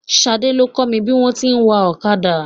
Ṣadé ló kọ́ mi bí wọn ti ń wa ọ̀kadà.